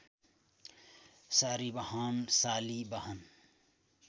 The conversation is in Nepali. सारीबाहन शालिवाहन